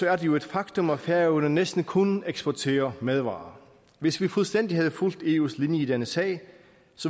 er det jo et faktum at færøerne næsten kun eksporterer madvarer hvis vi fuldstændig havde fulgt eus linje i denne sag